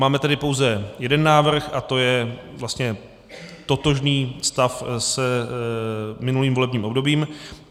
Máme tedy pouze jeden návrh a to je vlastně totožný stav s minulým volebním obdobím.